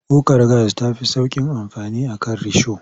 Kukar gas ta fi sauƙin amfani a kan risho.